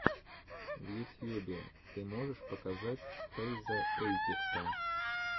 в ютьюбе ты можешь показать фэйза эйпекса